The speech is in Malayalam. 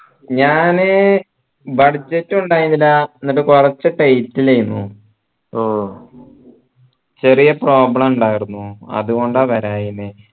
ഞാൻ budget ഉ ഇണ്ടായിരുന്നില്ല എന്നിട്ട് കൊറച്ചു tight ൽ ഏന് ഓ ചെറിയ problem ഇണ്ടായിരുന്നു അതുകൊണ്ടാ വരാതിരുന്നേ